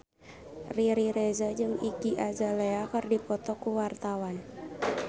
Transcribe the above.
Riri Reza jeung Iggy Azalea keur dipoto ku wartawan